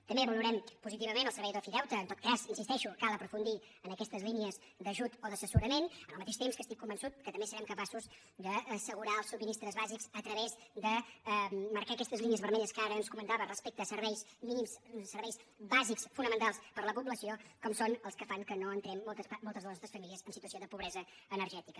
també valorem positivament el servei d’ofideute en tot cas hi insisteixo cal aprofundir en aquestes línies d’ajut o d’assessorament en el mateix temps que estic convençut que també serem capaços d’assegurar els subministres bàsics a través de marcar aquestes línies vermelles que ara ens comentava respecte a serveis mínims serveis bàsics fonamentals per a la població com són els que fan que no entrem moltes de les nostres famílies en situació de pobresa energètica